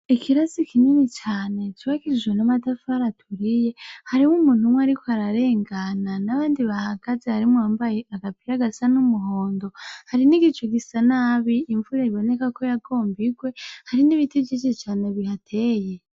Ikirasi kinini cane cubakishijwe n'amatafari aturiye, hariho umuntu umwe ariko ararengana n'abandi bahagaze harimwo uwambaye agapira gasa n'umuhondo hari n'igicu gisa nabi imvura iboneka ko yagomba igwe hari n'ibiti vyinshi cane bihateye.